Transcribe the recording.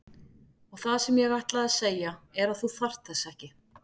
Og það sem ég ætlaði að segja er að þú þarft þess ekki.